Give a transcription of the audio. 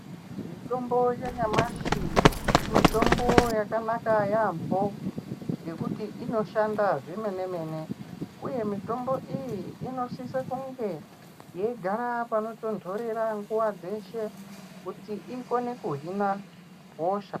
Mitombo yanyamashi mitombo yakanaka yaamho ngekuti inoshanda zvemene-mene, uye mutombo iyi inosise kunge yeigara panotonhorera nguva dzeshe kuti ikone kuhina hosha.